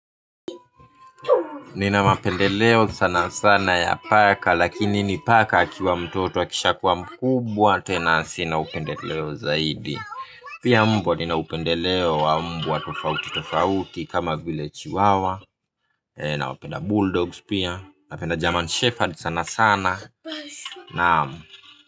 Nina mapendeleo sana sana ya paka lakini ni paka akiwa mtoto akisha kuwa mkubwa tena sina upendeleo zaidi. Pia mbwa ninaupendeleo wa mbwa tofauti tofauti kama vile chiwawa. Nawapenda Bull Dogs pia, napenda German Shepherd sana sana.